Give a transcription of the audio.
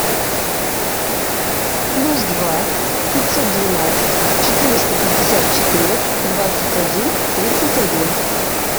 плюс два пятьсот двенадцать четыреста пятьдесят четыре двадцать один тридцать один